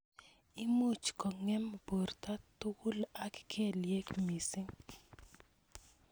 Imuch kong'em borto tukul ak kelyek missing.